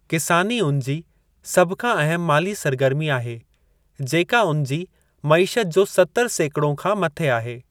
किसानी उन जी सभु खां अहम माली सरगर्मी आहे, जेका उन जी मईशत जो 70 सेकड़ो खां मथे आहे।